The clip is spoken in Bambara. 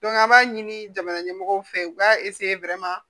an b'a ɲini jamana ɲɛmɔgɔw fɛ u b'a